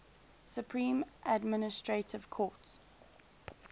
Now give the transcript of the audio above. supreme administrative court